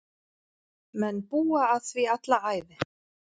Menn búa að því alla ævi.